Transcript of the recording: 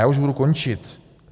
Já už budu končit.